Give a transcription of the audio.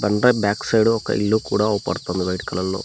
కొండ back side ఒక ఇల్లు కూడా అవ్పడుతుంది వైట్ కలర్ లో.